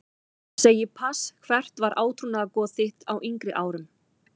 Segi pass Hvert var átrúnaðargoð þitt á yngri árum?